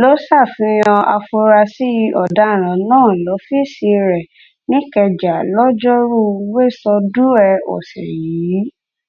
ló ṣàfihàn afurasí ọ̀daràn náà lọ́fíìsì rẹ̀ níkẹjà lọ́jọ́rú wẹsódùẹ ọ̀sẹ̀ yìí